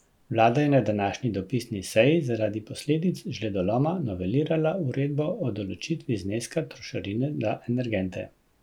Vlada je na današnji dopisni seji zaradi posledic žledoloma novelirala uredbo o določitvi zneska trošarine za energente.